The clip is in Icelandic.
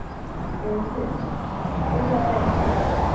Völundur, spilaðu tónlist.